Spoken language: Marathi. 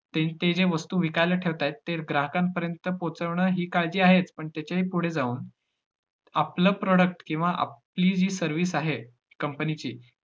ते~ ते ज्या वस्तु विकायला ठेवतात, ते ग्राहकांपर्यंत पोहचवणं ही काळजी आहेच, पण त्याच्याही पुढे जाऊन, आपलं product किंवा आपली जी service आहे company ची